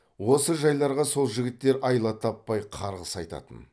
осы жайларға сол жігіттер айла таппай қарғыс айтатын